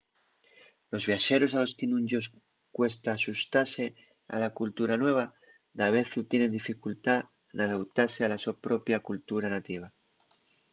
los viaxeros a los que nun-yos cuesta axustase a la cultura nueva davezu tienen dificultá n’adautase a la so propia cultura nativa